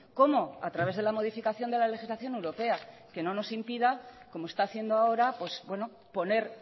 cómo a través de la modificación de la legislación europea que no nos impida como está haciendo ahora poner